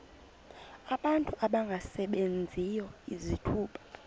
abantu abangasebenziyo izithuba